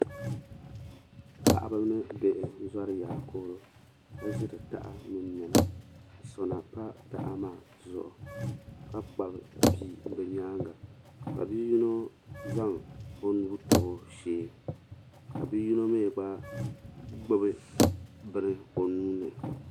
Paɣaba ni bihi n zori yaakooro ka ʒiri taha mini niɛma ka sona pa taha maa zuɣu ka kpabi bia bɛ nyaanga ka bia yino bini tabi o shee ka bia yino mi gba gbibi bini o nuuni.